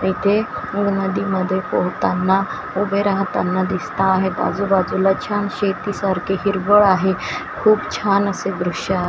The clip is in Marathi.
इथे नदीमध्ये पोहताना उभे राहताना दिसत आहेत आजूबाजूला छान शेतीसारखे हिरवळ आहे खूप छान असे दृश्य आहे.